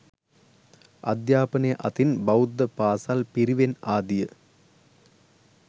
අධ්‍යාපනය අතින් බෞද්ධ පාසල් පිරිවෙන් ආදිය